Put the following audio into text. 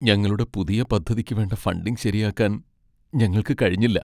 ഞങ്ങളുടെ പുതിയ പദ്ധതിക്ക് വേണ്ട ഫണ്ടിങ് ശരിയാക്കാൻ ഞങ്ങൾക്ക് കഴിഞ്ഞില്ല.